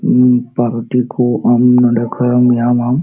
ᱩ ᱯᱟᱣᱨᱳᱴᱤ ᱠᱩ ᱱᱚᱰᱮ ᱠᱷᱚᱱ ᱮᱢ ᱧᱟᱢᱼᱟᱢ᱾